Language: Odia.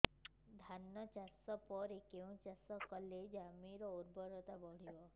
ଧାନ ଚାଷ ପରେ କେଉଁ ଚାଷ କଲେ ଜମିର ଉର୍ବରତା ବଢିବ